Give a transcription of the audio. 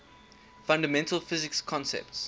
fundamental physics concepts